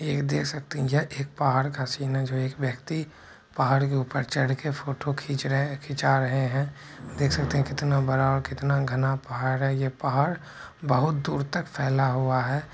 एक देख सकते है यह एक पहाड़ का सीन है जो एक व्यक्ति पहाड़ के ऊपर चढ़कर फोटो खींच रहे खींचा रहे है देख सकते है कितना बड़ा और कितना घना पहाड़ है ये पहाड़ बहुत दूर तक फैला हुआ है।